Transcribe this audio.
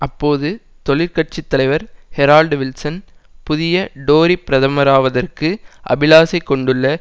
அப்போது தொழிற்கட்சி தலைவர் ஹரோல்டு வில்சன் புதிய டோரி பிரதமராவதற்கு அபிலாசை கொண்டுள்ள